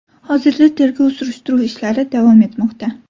Hozirda tergov-surishtiruv ishlari davom etmoqda.